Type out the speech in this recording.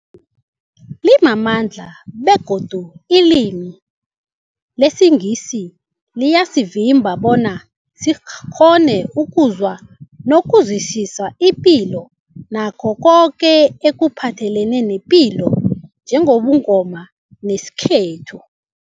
limamandla begodu ilimi lesiNgisi liyasivimba bona sikghone ukuzwa nokuzwisisa ipilo nakho koke ekuphathelene nepilo njengobuNgoma nesintu.